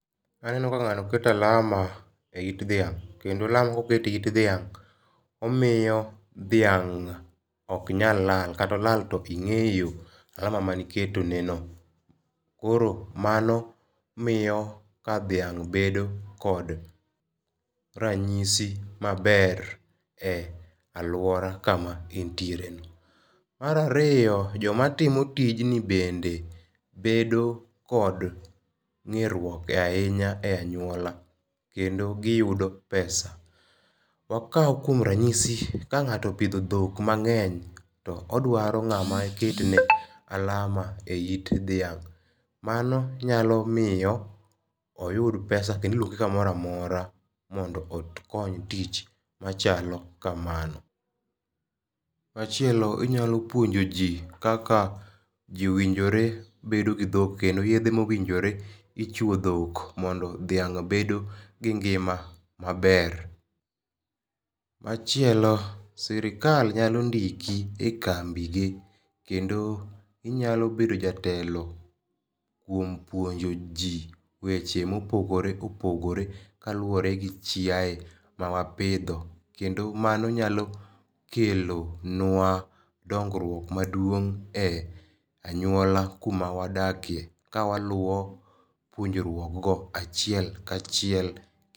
Aneno ka ngáno keto alama e it dhiang'. Kendo alama koket e it dhiang', omiyo dhiang' ok nyal lal. Kata olal to ingéyo alama mane iketoneno. Koro mano miyo ka dhiang' bedo kod ranyisi maber e alwora kama en tiere no. Mar ariyo, joma timo tijni bende bedo kod ng'eruok ahinya e anywola. Kendo giyudo pesa. Wakau kuom ranyisi, ka ngáto opidho dhok mangény, to odwaro ngáma ketne alama e it dhiang', mano nyalo miyo oyud pesa kendo iluonge kamoro amora mondo okony tich machalo kamano. Machielo inyalo puonjo ji kaka ji owinjore bedo gi dhok, kendo yedhe ma owinjore ichwo dhok mondo dhiang' bedo gi ngima maber. Machielo, sirkal nyalo ndiki e kambi gi, kendo inyalo bedo jatelo kuom puonjo ji weche ma opogore opogore, kaluwore gi chiae ma wapidho. Kendo mano nyalo kelo nwa dongruok maduong' e anyuola kuma wadake. Kawaluwo puonjruokgo achiel kachiel.